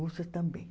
Russas também.